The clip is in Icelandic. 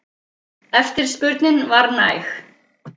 Eftirspurnin var næg.